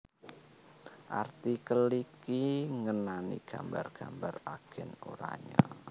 artikel iki ngenani gambar gambar Agen Oranye